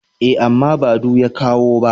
E, amma ba du ya kawo ba.